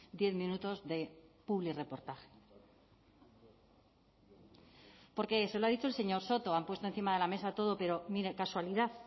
diez minutos de publirreportaje porque se lo ha dicho el señor soto han puesto encima de la mesa todo pero mire casualidad